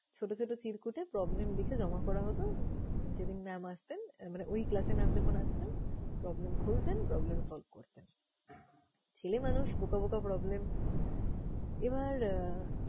ছোট ছোট চিরকুটে problem লিখে জমা করা হতো? যেদিন mam আসতেন মানে ওই class এ mam যখন আসতেন problem খুলতেন, problem solve করতেন। ছেলে মানুষ, বোকা বোকা problem । এবার আহ